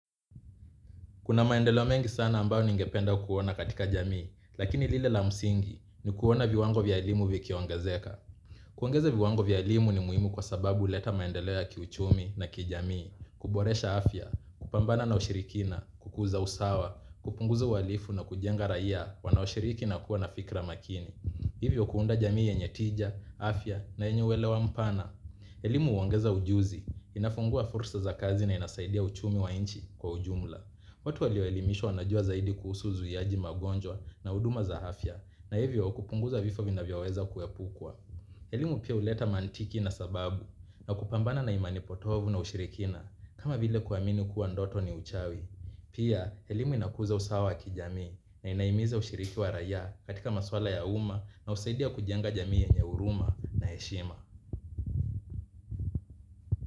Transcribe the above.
Kuna maendeleo mengi sana ambao ningependa kuona katika jamii, lakini lile la msingi ni kuona viwango vya elimu vikiongezeka. Kuongeza viwango vya elimu ni muhimu kwa sababu huleta maendeleo ya kiuchumi na kijamii, kuboresha afya, kupambana na ushirikina, kukuza usawa, kupunguza uhalifu na kujenga raia wanaoshiriki na kuwa na fikra makini. Hivyo kuunda jamii yenye tija, afya na yenye uwelewa mpana. Elimu huongeza ujuzi, inafungua fursa za kazi na inasaidia uchumi wa nchi kwa ujumla. Watu walioelimishwa wanajua zaidi kuhusu zuiaji magonjwa na huduma za afya na hivyo kupunguza vifo vinavyoweza kuepukwa. Elimu pia huleta maantiki na sababu na kupambana na imani potovu na ushirikina kama vile kuamini kuwa ndoto ni uchawi. Pia, elimu inakuza usawa kijamii na inahimiza ushiriki wa raia katika maswala ya umma na husaidia kujenga jamii yenye huruma na heshima.